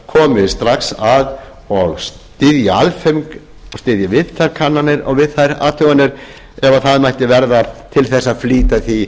komi strax að og styðji aðföng og styðji við þær kannanir og við þær athuganir ef það mætti verða til þess að flýta því